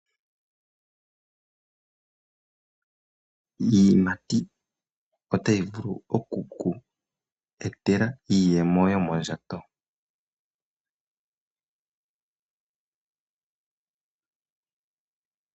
Iiyimati otayi vulu oku ku etela iiyemo yomondjato .